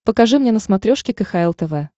покажи мне на смотрешке кхл тв